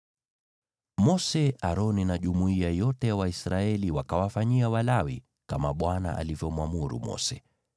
Mose, Aroni na jumuiya yote ya Waisraeli wakawafanyia Walawi kama Bwana alivyomwamuru Mose.